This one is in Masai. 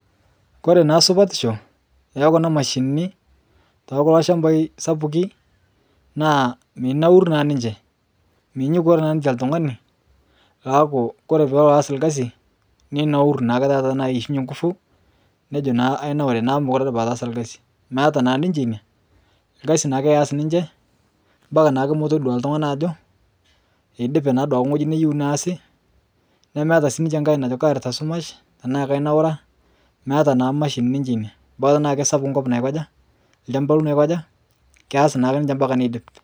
Kore naa supatisho ekuna mashini ekulo shambai sapukin naaa minaur naa ninche peeku ore peelo aas orkasi ninaur naake taata aishunye nguvu nejo naa anaure neeku mekure aas orkasi meeta naa ninche ina orkasi naake eess ninche mbakaa naake todua oltung'ani ajo eidipe eneyieu neesi nemeeta siininche najo kaarita shumash naa kanaura maata naa mashini ninche ina bora enkop naikaja keas ninche ombaka neidip